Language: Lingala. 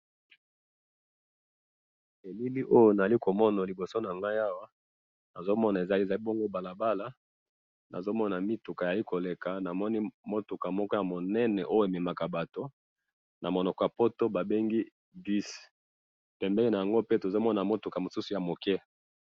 elili oyo nazali komona liboso nangai awa, nazomona eza bongo balabala, nazomona mituka ezali koleka, namoni mutuka moko ya munene, oyo ememaka batu namonoko ya poto babengi bus, pembeni yango pe tozomona mutuka mosusu ya muke